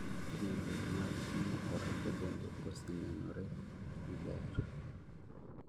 Timbe mag timo orako bende osenenore ni ber